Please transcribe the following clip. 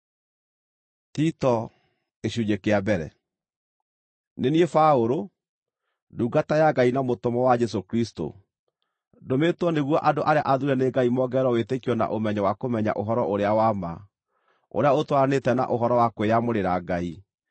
Nĩ niĩ Paũlũ, ndungata ya Ngai na mũtũmwo wa Jesũ Kristũ. Ndũmĩtwo nĩguo andũ arĩa athuure nĩ Ngai mongererwo wĩtĩkio na ũmenyo wa kũmenya ũhoro-ũrĩa-wa-ma ũrĩa ũtwaranĩte na ũhoro wa kwĩyamũrĩra Ngai,